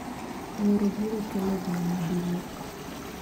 Wuoro biro kelo dhiang’maduong'